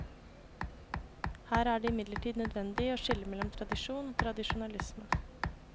Her er det imidlertid nødvendig å skille mellom tradisjon og tradisjonalisme.